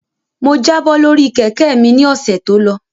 Mo jábọ́ lórí Kẹ̀kẹ́ mi ni ọ̀sẹ̀ tó lọ